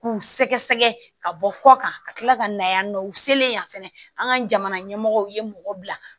K'u sɛgɛsɛgɛ ka bɔ kɔ kan ka kila ka na yan nɔ u selen yan fɛnɛ an ka jamana ɲɛmɔgɔw ye mɔgɔ bila